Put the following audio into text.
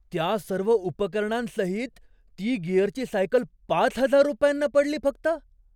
त्या सर्व उपकरणांसहित ती गिअरची सायकल पाच हजार रुपयांना पडली फक्त?